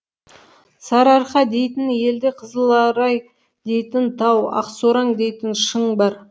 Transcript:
сарыарқа дейтін елде қызыларай дейтін тау ақсораң дейтін шың бар